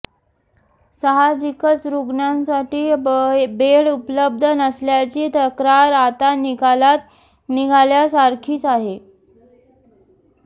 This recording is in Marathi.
साहजिकच रुग्णांसाठी बेड उपलब्ध नसल्याची तक्रार आता निकालात निघाल्या सारखीच आहे